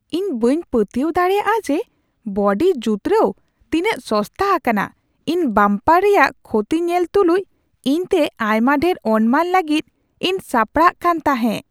ᱤᱧ ᱵᱟᱹᱧ ᱯᱟᱹᱛᱭᱟᱹᱣ ᱫᱟᱲᱮᱭᱟᱜᱼᱟ ᱡᱮ ᱵᱚᱰᱤ ᱡᱩᱛᱨᱟᱹᱣ ᱛᱤᱱᱟᱹᱜ ᱥᱚᱥᱛᱟ ᱟᱠᱟᱱᱟ ! ᱤᱧ ᱵᱟᱢᱯᱟᱨ ᱨᱮᱭᱟᱜ ᱠᱷᱚᱛᱤ ᱧᱮᱞ ᱛᱩᱞᱩᱡ ᱤᱧᱛᱮ ᱟᱭᱢᱟ ᱰᱷᱮᱨ ᱚᱱᱢᱟᱱ ᱞᱟᱹᱜᱤᱫ ᱤᱧ ᱥᱟᱯᱲᱟᱜ ᱠᱟᱱ ᱛᱟᱦᱮᱸᱜ ᱾